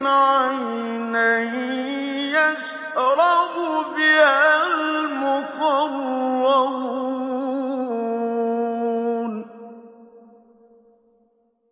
عَيْنًا يَشْرَبُ بِهَا الْمُقَرَّبُونَ